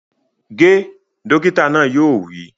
Ge! Dókítà náà yóò wí